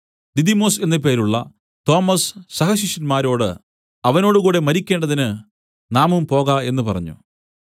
ദിദിമൊസ് എന്നു പേരുള്ള തോമസ് സഹശിഷ്യന്മാരോട് അവനോടുകൂടെ മരിക്കേണ്ടതിന് നാമും പോക എന്നു പറഞ്ഞു